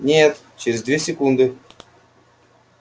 нет через две секунды